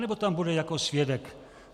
Anebo tam bude jako svědek.